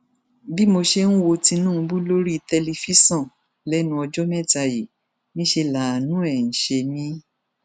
bí mo ṣe ń wo tinubu lórí tẹlifíṣàn lẹnu ọjọ mẹta yìí niṣẹ láàánú ẹ ń ṣe mí